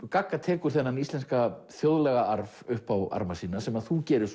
gagga tekur þennan íslenska upp á arma sína sem þú gerir